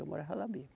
Eu morava lá mesmo.